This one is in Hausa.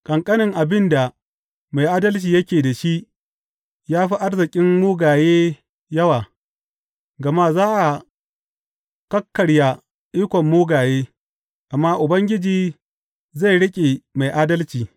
Ƙanƙanen abin da mai adalci yake da shi ya fi arzikin mugaye yawa; gama za a kakkarya ikon mugaye, amma Ubangiji zai riƙe mai adalci.